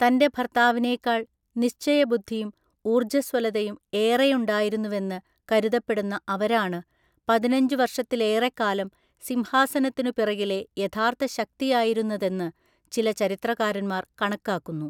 തൻ്റെ ഭർത്താവിനേക്കാൾ നിശ്‌ചയബുദ്ധിയും ഊർജ്ജസ്വലതയും ഏറെയുണ്ടായിരുന്നുവെന്ന് കരുതപ്പെടുന്ന അവരാണ്, പതിനഞ്ചുവർഷത്തിലേറെക്കാലം സിംഹാസനത്തിനുപിറകിലെ യഥാർത്ഥ ശക്തിയായിരുന്നതെന്ന് ചില ചരിത്രകാരന്മാർ കണക്കാക്കുന്നു.